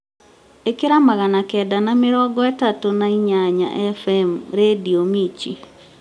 ĩkĩra magana kenda na mĩrongo ĩtatũ na inyanya f.m rĩndiũ mirchi